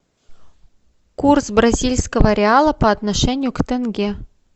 курс бразильского реала по отношению к тенге